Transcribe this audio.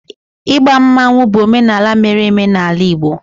igba mmanwu bụ omenala mere eme n'ala Igbo